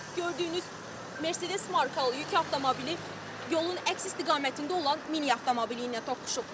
Belə ki, gördüyünüz Mercedes markalı yük avtomobili yolun əks istiqamətində olan mini avtomobili ilə toqquşub.